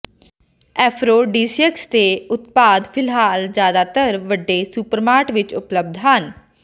aphrodisiacs ਦੇ ਉਤਪਾਦ ਫਿਲਹਾਲ ਜਿਆਦਾਤਰ ਵੱਡੇ ਸੁਪਰਮਾਂਟ ਵਿੱਚ ਉਪਲਬਧ ਹਨ